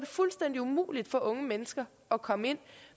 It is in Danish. fuldstændig umuligt for unge mennesker at komme ind